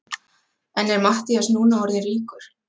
En er Matthías núna orðinn ríkur?